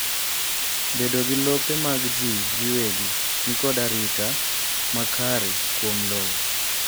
Bedo gi lope mag jii giwegi nikod arita makare kuom lowo